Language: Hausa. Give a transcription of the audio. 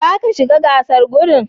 Zaka shiga gasar gudun?